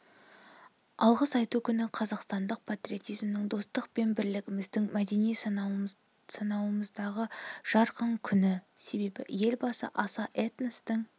алғыс айту күні қазақстандық патриотизмнің достық пен бірлігіміздің мәдени саналуандығымыздың жарқын күні себебі елбасы аса этностың